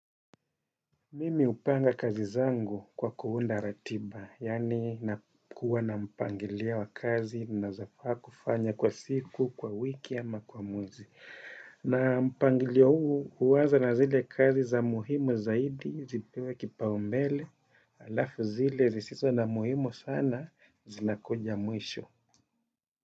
Mimi hupanga kazi zangu kwa kuunda ratiba, yaani nakuwa na mpangilio wa kazi ninazofaa kufanya kwa siku, kwa wiki ama kwa mwezi. Na mpangilio huu huanza na zile kazi za muhimu zaidi zipewe kipaumbele, halafu zile zisizo na muhimu sana zinakuja mwisho.